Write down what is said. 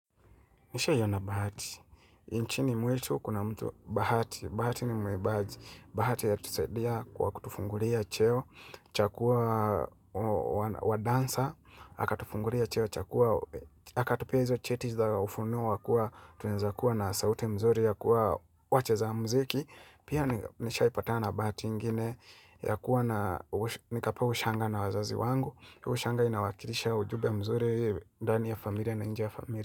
Nishaiona bahati, inchini mwetu kuna mtu bahati, bahati ni mwimbaji, bahati ya tusaidia kwa kutufungulia cheo, cha kua wadansa, hakatufungulia cheo, hakatupia hizo cheti sa ufunuwa, tuweza kuwa na sauti mzuri ya kuwa wacheza mziki, pia nishaipatana bahati ingine, ya kuwa na nikapewa ushanga na wazazi wangu, ushanga inawakilisha ujumbe mzuri, ndani ya familia na inje ya familia.